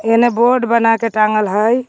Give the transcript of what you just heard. हेने बोर्ड बना के टांगल है.